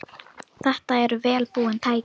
Þetta eru vel búin tæki.